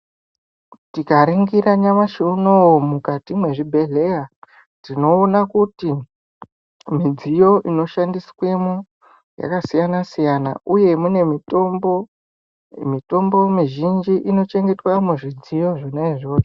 Tikaningira nyamashi unou mukati mezvibhehlera tinoona kuti midziyo inoshandiswemo yakasiyana siyana uye mune mitombo mitombo mizhinji inochengetwa muzvidziyo zvona izvozvo